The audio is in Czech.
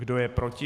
Kdo je proti?